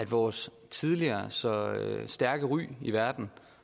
vores tidligere så stærke ry i verden